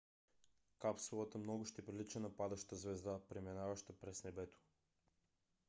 капсулата много ще прилича на падаща звезда преминаваща през небето